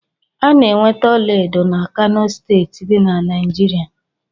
A na-enweta ọlaedo na Kano steeti dị na Naijiria